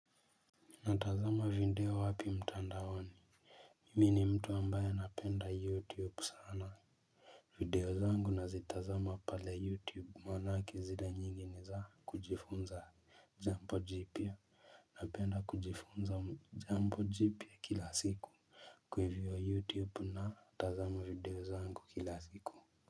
Natazama video wapi mtandaoni Mi ni mtu ambaye napenda youtube sana. Video zangu nazitazama pale youtube manake zile nyingi ni za kujifunza jambo jipya. Napenda kujifunza jambo jipya kila siku kwa hivyo youtube natazama video zangu kila siku.